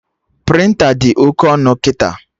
Prịnta dị oke ọnụ kịta